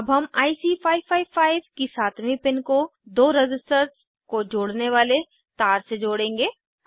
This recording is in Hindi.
अब हम आईसी 555 की सातवीं पिन को दो रज़िस्टर्स को जोड़ने वाले तार से जोड़ेंगे